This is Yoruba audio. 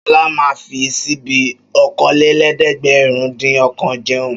Ṣọlá máa ń fi ṣíbí okòólélẹ́ẹ̀dẹ́gbẹ̀rúndínọ̀kan jẹun.